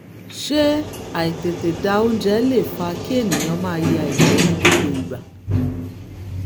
ṣé àìtètè da oúnjẹ lè fa kí ènìyàn máa ya ìgbẹ́ ní gbogbo ìgbà?